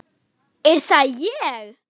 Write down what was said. Er það ÉG??